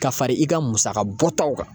Ka fara i ka musaka bɔtaw kan.